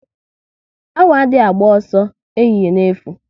Awọ adị agba ọsọ ehihie n'efu